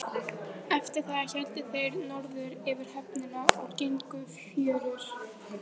Eftir það héldu þeir norður fyrir höfnina og gengu fjörur.